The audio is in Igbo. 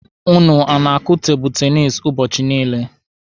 Ụnụ ọ na-akụ tebụlụ tenisi ụbọchị niile?